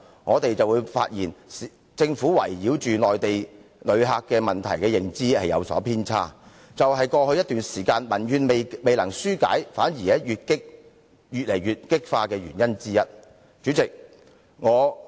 我們發現政府圍繞內地旅客問題的認知有偏差，這也是過去一段時間裏民怨未能紓解，反而愈見激化的原因之一。